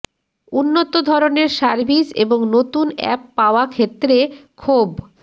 উন্নত ধরণের সার্ভিস এবং নতুন অ্যাপ পাওয়া ক্ষেত্রে ক্ষোভ